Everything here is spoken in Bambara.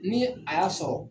Ni a y'a sɔrɔ